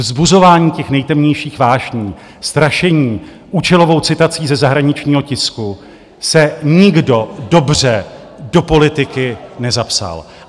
Vzbuzováním těch nejtemnějších vášní, strašením účelovou citací ze zahraničního tisku se nikdo dobře do politiky nezapsal.